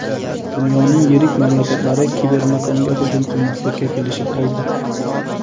Dunyoning yirik mamlakatlari kibermakonga hujum qilmaslikka kelishib oldi.